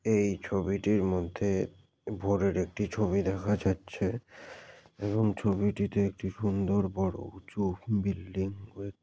এই ছবিটির মধ্যে ভোরের একটি ছবি দেখা যাচ্ছে এবং ছবিটিতে একটি সুন্দর বড়ো উঁচু বিল্ডিং এব--